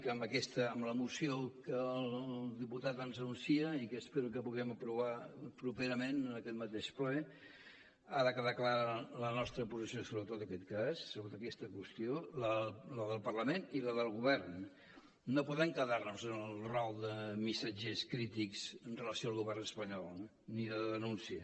que amb la moció que el diputat ens anuncia i que espero que puguem aprovar properament en aquest mateix ple ha de quedar clara la nostra posició sobre tot aquest cas sobre aquesta qüestió la del parlament i la del govern no podem quedar nos en el rol de missatgers crítics amb relació al govern espanyol ni de denúncia